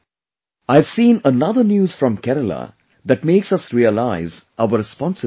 I have seen another news from Kerala that makes us realise our responsibilities